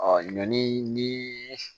ɲɔni ni